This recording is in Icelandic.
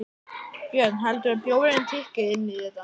Björn: Heldurðu að bjórinn tikki inn í þetta?